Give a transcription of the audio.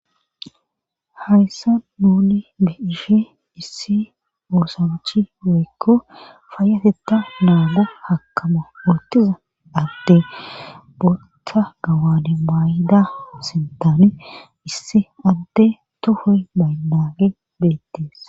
hayssa nuni be ishe issi oosawachi weykko faayateta naago hakkama oottiza adde botta gawane mayida asintaani issi adde tohoy maynage beettees